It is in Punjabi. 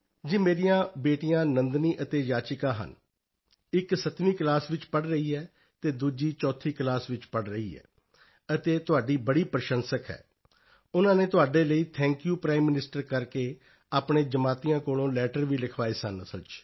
ਜੀ ਮੇਰੀਆਂ ਬੇਟੀਆਂ ਨੰਦਨੀ ਅਤੇ ਯਾਚਿਕਾ ਹਨ ਇਕ 7ਵੀਂ ਕਲਾਸ 7th ਕਲਾਸ ਵਿੱਚ ਪੜ੍ਹ ਰਹੀ ਹੈ ਦੂਸਰੀ ਚੌਥੀ ਕਲਾਸ 4th ਕਲਾਸ ਵਿੱਚ ਪੜ੍ਹ ਰਹੀ ਹੈ ਅਤੇ ਤੁਹਾਡੀ ਬੜੀ ਪ੍ਰਸ਼ੰਸਕ ਹੈ ਉਨ੍ਹਾਂ ਨੇ ਤੁਹਾਡੇ ਲਈ ਥੈਂਕ ਯੂ ਪ੍ਰਾਈਮ ਮਨਿਸਟਰ ਕਰਕੇ ਆਪਣੇ ਜਮਾਤੀਆਂ ਕੋਲੋਂ ਲੈਟਰ ਵੀ ਲਿਖਵਾਏ ਸਨ ਅਸਲ ਵਿੱਚ